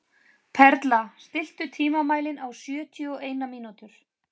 Perla, stilltu tímamælinn á sjötíu og eina mínútur.